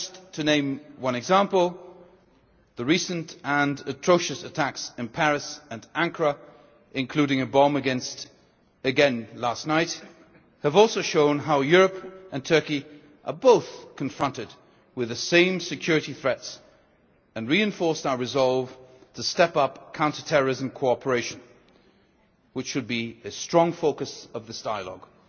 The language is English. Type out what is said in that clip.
To name one example, the recent and atrocious attacks in Paris and Ankara including a bomb again last night showed how Europe and Turkey are confronted by the same security threats, and they reinforced our resolve to step up counter terrorism cooperation, which should be a strong focus of this dialogue.